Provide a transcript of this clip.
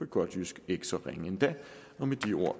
godt jysk ikke så ringe endda med de ord